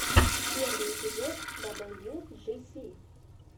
первый эпизод даблюджиси